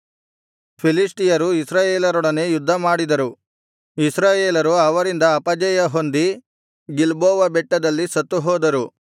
ಫಿಲಿಷ್ಟಿಯರು ಇಸ್ರಾಯೇಲರೊಡನೆ ಯುದ್ಧಮಾಡಿದರು ಇಸ್ರಾಯೇಲರು ಅವರಿಂದ ಅಪಜಯಹೊಂದಿ ಗಿಲ್ಬೋವ ಬೆಟ್ಟದಲ್ಲಿ ಸತ್ತುಹೋದರು